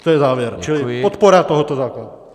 To je závěr, čili podpora tohoto zákona.